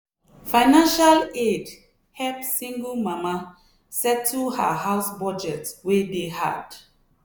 financial aid help single mama settle her house budget wey dey hard.